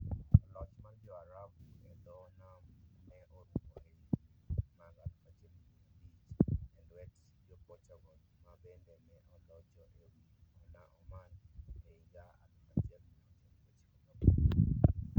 Loch mar Jo-Arabu e dho nam ne orumo e higini mag 1500 e lwet Jo-Portugal, ma bende ne olocho e wi Oman e higa 1698.